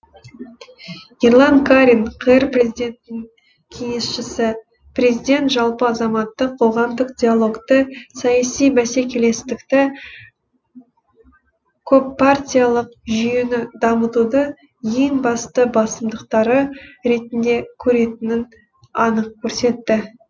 ерлан карин қр президентінің кеңесшісі президент жалпы азаматтық қоғамдық диалогты саяси бәсекелестікті көппартиялық жүйені дамытуды ең басты басымдықтары ретінде көретінін анық көрсетті